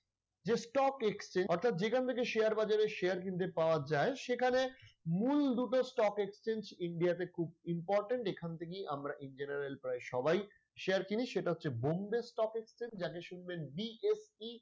যে stock exchange অর্থাৎ যেখান থেকে share বাজারের share কিনতে পাওয়ার যায় সেখানে মূল দুটো stock exchange india তে খুব important এখান থেকেই আমরা in general প্রায় সবাই share কিনি সেটা হচ্ছে Bombay Stock Exchange যাকে শুনবেন BSE